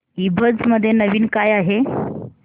ईबझ मध्ये नवीन काय आहे